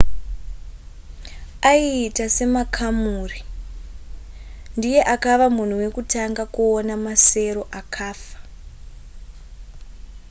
aiita semakamuri ndiye akava munhu wekutanga kuona masero akafa